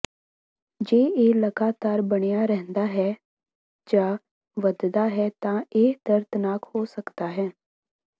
ਜੇ ਇਹ ਲਗਾਤਾਰ ਬਣਿਆ ਰਹਿੰਦਾ ਹੈ ਜਾਂ ਵਧਦਾ ਹੈ ਤਾਂ ਇਹ ਦਰਦਨਾਕ ਹੋ ਸਕਦਾ ਹੈ